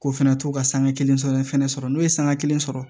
K'o fɛnɛ to ka sanga kelen sɔrɔ ne fɛnɛ sɔrɔ n'o ye sanga kelen sɔrɔ